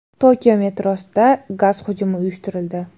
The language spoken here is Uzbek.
Tokio metrosida gaz hujumi uyushtirildi .